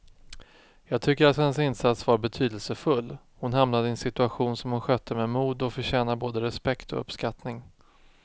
Jag tycker att hennes insats var betydelsefull, hon hamnade i en situation som hon skötte med mod och förtjänar både respekt och uppskattning.